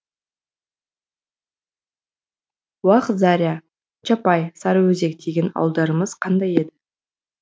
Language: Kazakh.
уақ заря чапай сарыөзек деген ауылдарымыз қандай еді